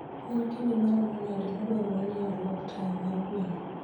En kinde maromo nade madwarore ni olok taya mar gweno?